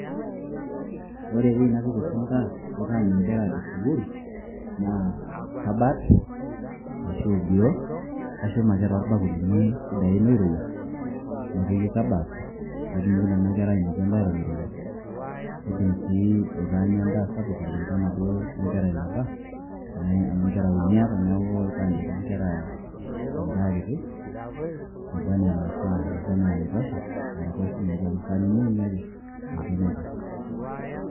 Ore eweji oshi napik endaa aitaany' engera esukuul naa, kabaat arashu oldiroo, kashum ake toolbakulini sidain oirowua nepiki kabaat peetumoki Nena Kera ainepu endaa Eton eirowua keidim sii aitaanya endaa SAPUK kulinganaduo o ngera eneba tenaa engera uni aata neaku aitaany' ake engera endaa kitie naba enaa enaifaa naba enaa enaitosha naraposh sininche amu esaanini uni ake ninche naitosha.